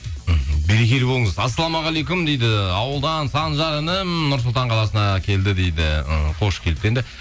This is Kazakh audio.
мхм берекелі болыңыз ассалаумағалейкум дейді ауылдан санжар інім нұр сұлтан қаласына келді дейді іхі қош келіпті енді